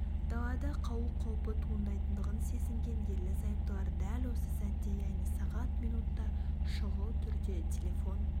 далада қалу қаупі туындайтындығын сезінген ерлі-зайыптылар дәл осы сәтте яғни сағат минутта шұғыл түрде телефон